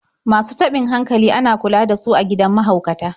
Masu taɓin hankali ana kula da su a gidan mahaukata.